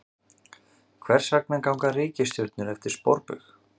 Hvers vegna ganga reikistjörnur eftir sporbaug?